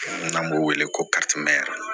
N'an b'o wele ko